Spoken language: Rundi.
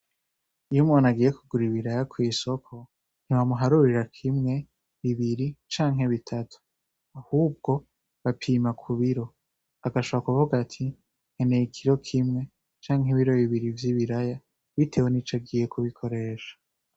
Iyo umuntu agiye kugura ibiraya kw'isoko ntibamuharurira kimwe bibiri canke bitatu ahubwo bapima ku biro agashaba kuvuga ati nkeneye ikiro kimwe canke ibiro bibiri vy'i biraya, bitewe ni co agiye kubikoresha.